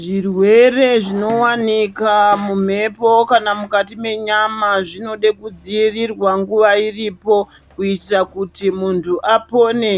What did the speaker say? Zvirwere zvinowanika mumhepo kana mukati menyama zvinode kudzivirirwa nguva iripo kuitira kuti muntu apone